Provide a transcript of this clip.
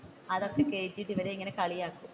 അതൊക്കെ കേറ്റിയിട്ട് ഇവനെ അങ്ങ് കളിയാക്കും.